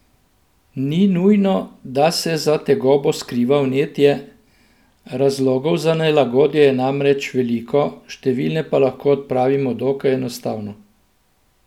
Ni nujno, da se za tegobo skriva vnetje, razlogov za nelagodje je namreč veliko, številne pa lahko odpravimo dokaj enostavno.